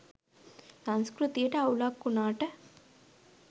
සංස්කෘතියට අවුලක් වුණාට